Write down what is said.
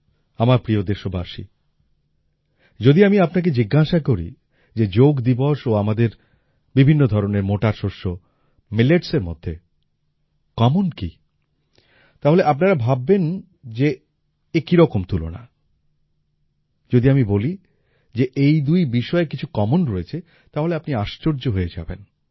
আমার প্রিয় দেশবাসী যদি আমি আপনাকে জিজ্ঞাসা করি যে যোগ দিবস ও আমাদের বিভিন্ন ধরনের মোটা শস্য Milletsএর মধ্যে কমন কি তাহলে আপনারা ভাববেন যে এ কি রকম তুলনা যদি আমি বলি যে এই দুই বিষয়ে কিছু কমন রয়েছে তাহলে আপনি আশ্চর্য হয়ে যাবেন